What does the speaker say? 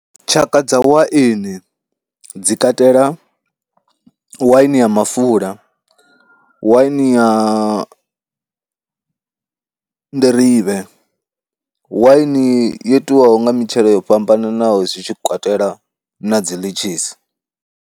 Tshaka dza waini dzi katela waini ya mafula, waini ya nḓirivhe, waini yo itiwaho nga mitshelo yo fhambananaho zwi tshi katela na dzi ḽitshisi.